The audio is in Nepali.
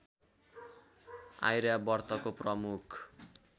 आर्यावर्तका प्रमुख